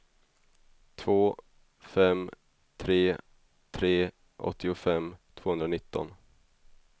två fem tre tre åttiofem tvåhundranitton